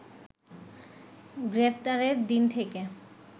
গ্রেপ্তারের দিন থেকে